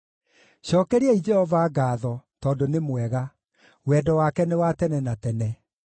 Cookeriai Jehova ngaatho, tondũ nĩ mwega. Wendo wake nĩ wa tene na tene.